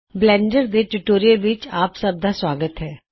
Blender tutorial ਵਿਚ ਤੁਹਾਡਾ ਜੀ ਆਇਆ ਨੂੰ